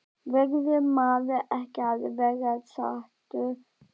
Verður maður ekki að vera sáttur?